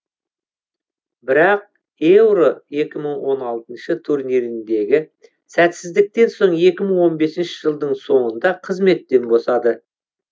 бірақ еуро екі мың он алтыншы турниріндегі сәтсіздіктен соң екі мың он бесінші жылдың соңында қызметтен босады